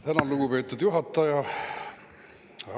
Tänan, lugupeetud juhataja!